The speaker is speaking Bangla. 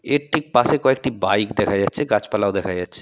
এর একটি পাশে কয়েকটি বাইক দেখা যাচ্ছে গাছপালাও দেখা যাচ্ছে।